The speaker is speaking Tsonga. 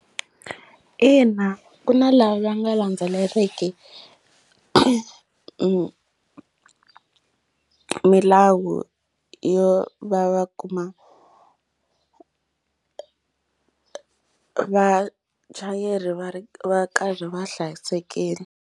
Ina ku na lava va nga landzeleriki milawu yo va va kuma vachayeri va ri va karhi va hlayisekile.